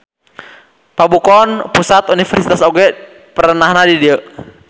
Pabukon Pusat Universitas oge perenahna di dieu.